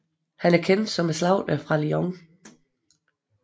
Han var kendt som Slagteren fra Lyon